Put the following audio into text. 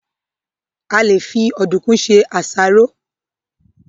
A lè fi Ọ̀dùnkún se àsáró